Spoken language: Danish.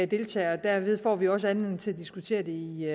deltager og derved får man jo også anledning til at diskutere det i